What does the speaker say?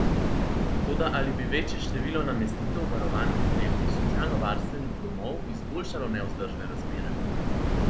Toda ali bi večje število namestitev v varovanih oddelkih socialnovarstvenih domov izboljšalo nevzdržne razmere?